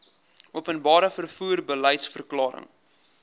openbare vervoer beliedsverklaring